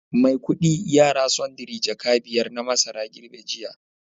Maikudi yara sundry jaka biyar na masara girbe jiya